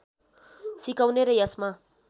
सिकाउने र यसमा